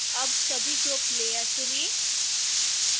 अब सभी group layer चुनें